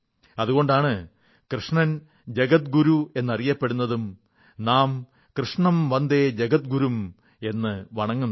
അതുകൊണ്ടാണ് കൃഷ്ണൻ ജഗത്ഗുരു എന്നും അറിയപ്പെടുന്നതും നാം കൃഷ്ണം വന്ദേ ജഗത്ഗുരും എന്നു വണങ്ങുന്നതും